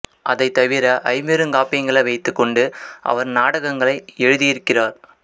அதைத் தவிர ஐம்பெருங்காப்பியங்களை வைத்துக் கொண்டு அவர் நாடகங்களை எழுதியிருக்கிறார்